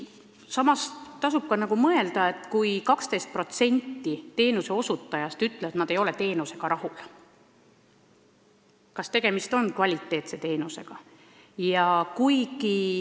Samuti tasub mõelda, et kui 12% teenuse saanutest ütleb, et nad ei ole sellega rahul, siis kas tegemist on kvaliteetse abiga.